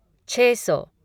छः सौ